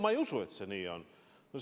Ma ei usu, et see nii on.